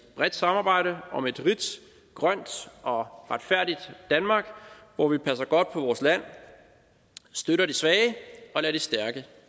bredt samarbejde om et rigt grønt og retfærdigt danmark hvor vi passer godt på vores land støtter de svage og lader de stærke